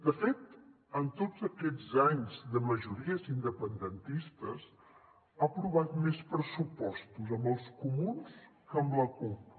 de fet en tots aquests anys de majories independentistes ha aprovat més pressupostos amb els comuns que amb la cup